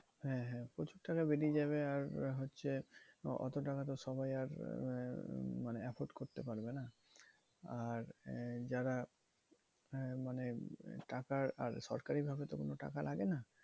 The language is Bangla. হ্যাঁ হ্যাঁ প্রচুর টাকা বেরিয়ে যাবে। আর হচ্ছে অত টাকা তো সবাই আর আহ মানে acquire করতে পারবে না। আর আহ যারা মানে টাকার আর সরকারি ভাবে তো কোনো টাকা লাগে না?